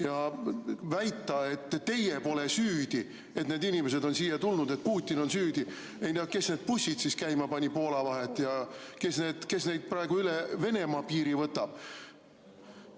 Ja väita, et teie pole süüdi, et need inimesed on siia tulnud, et Putin on süüdi – ei tea, kes need bussid käima pani Poola vahet ja kes neid praegu üle Venemaa piiri võtab.